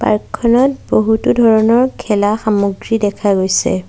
Park খনত বহুতো ধৰণৰ খেলা সামগ্ৰী দেখা গৈছে।